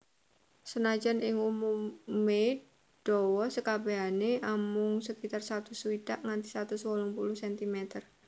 Senajan ing umumé dawa sekabèhané amung sekitar satus swidak nganti satus wolung puluh centimeter